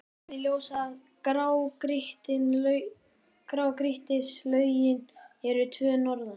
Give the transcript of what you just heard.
Nýlega kom í ljós að grágrýtislögin eru tvö norðan